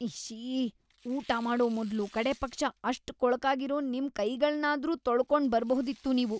ಇಶ್ಶೀ! ಊಟ ಮಾಡೋ ಮೊದ್ಲು ಕಡೇಪಕ್ಷ ಅಷ್ಟ್‌ ಕೊಳಕಾಗಿರೋ ನಿಮ್ ಕೈಗಳ್ನಾದ್ರೂ ತೊಳ್ಕೊಂಡ್‌ ಬರ್ಬಹುದಿತ್ತು ನೀವು.